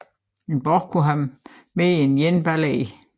En borg kunne have mere end én bailey